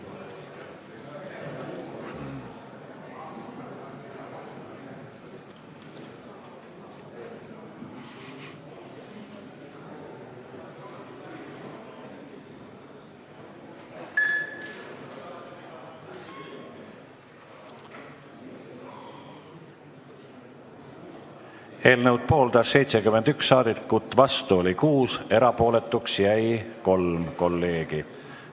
Hääletustulemused Eelnõu pooldas 71 saadikut, vastu oli 6, erapooletuks jäi 3 kolleegi.